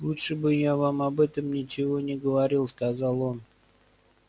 лучше бы я вам об этом ничего не говорил сказал он